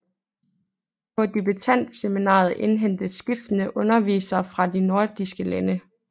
På debutantseminaret indhentes skiftende undervisere fra de nordiske lande